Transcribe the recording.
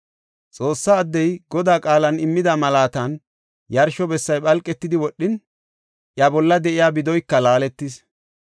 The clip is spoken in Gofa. Xoossa addey Godaa qaalan immida malaatan yarsho bessay phalqetidi wodhin, iya bolla de7iya bidoyka laaletis.